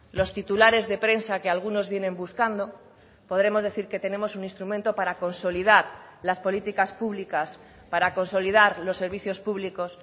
los titulares de prensa que algunos vienen buscando podremos decir que tenemos un instrumento para consolidar las políticas públicas para consolidar los servicios públicos